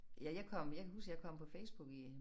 Ja jeg kom jeg kan huske jeg kom på Facebook i